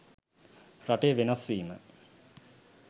රටේ වෙනස් වීම